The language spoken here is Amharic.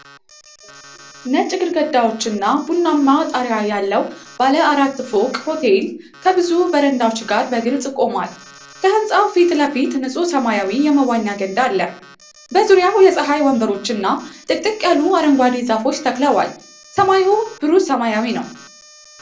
ነጭ ግድግዳዎችና ቡናማ ጣሪያ ያለው ባለ አራት ፎቅ ሆቴል ከብዙ በረንዳዎች ጋር በግልጽ ቆሟል። ከህንጻው ፊት ለፊት ንጹህ ሰማያዊ የመዋኛ ገንዳ አለ። በዙሪያው የፀሐይ ወንበሮች እና ጥቅጥቅ ያሉ አረንጓዴ ዛፎች ተክለዋል። ሰማዩ ብሩህ ሰማያዊ ነው።